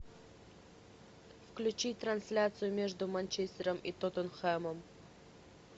включи трансляцию между манчестером и тоттенхэмом